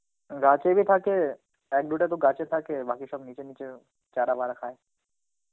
গাছে Hindi থাকে এক দুটা তো গাছে থাকে বাকি সব নিচে নিচে চারা বারা খায়.